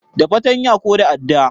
Da fatanya ko da adda